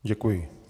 Děkuji.